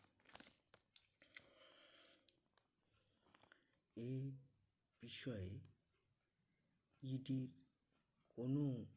এই বিষয়ে ED কোনো